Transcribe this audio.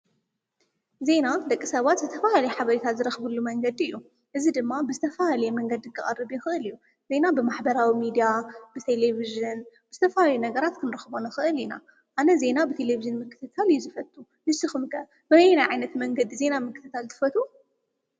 ዜና ደቂ ሰባት ዝተፈላለየ ሓበሬታት ዝረኽብሉ መንገዲ እዩ፡፡ እዚ ድማ ብዝተፈላለየ መንገዲ ክቐርብ የኽእል እዩ፡፡ ዜና ብማሐበራዊ ሚድያ፣ ብቴሌብዥን ብዝተፈላለዩ ነገራት ክንረኽቦ ንኽእል ኢና፡፡ ኣነ ዜና ብቴሌብዥን ምክትታል እየ ዝፈቱ፡፡ ንስኹም ከ በበየናይ ዓይነት መንገዲ ዜና ምክትታለ ትፈትው?